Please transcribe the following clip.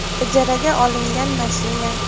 Ijaraga olingan mashina.